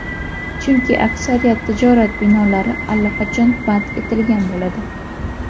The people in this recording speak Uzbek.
Chunki aksariyat tijorat binolari allaqachon band etilgan bo‘ladi.